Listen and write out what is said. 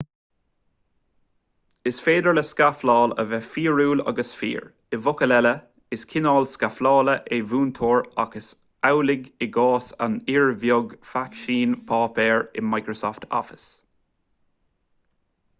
is féidir le scafláil a bheith fíorúil agus fíor i bhfocail eile is cineál scaflála é múinteoir ach is amhlaidh i gcás an fhir bhig fáiscín páipéir in microsoft office